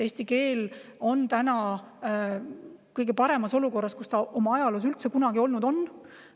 Eesti keel on täna kõige paremas olukorras, kus ta ajaloos üldse kunagi olnud on.